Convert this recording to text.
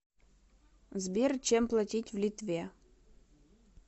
сбер чем платить в литве